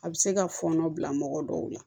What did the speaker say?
A bɛ se ka fɔɔnɔ bila mɔgɔ dɔw la